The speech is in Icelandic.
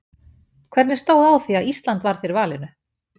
Hvernig stóð á því að Ísland varð fyrir valinu?